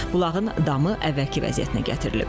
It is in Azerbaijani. Bulağın damı əvvəlki vəziyyətinə gətirilib.